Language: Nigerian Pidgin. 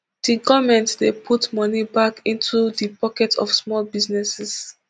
di goment dey put money back into di pockets of small businesses